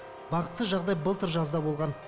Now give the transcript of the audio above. бақытсыз жағдай былтыр жазда болған